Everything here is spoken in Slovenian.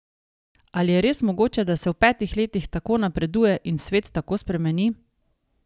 Ali je res mogoče, da se v petih letih tako napreduje in svet tako spremeni?